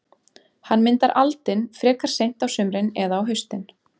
Hann myndar aldin frekar seint á sumrin eða á haustin.